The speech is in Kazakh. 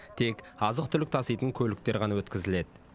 тек азық түлік таситын көліктер ғана өткізіледі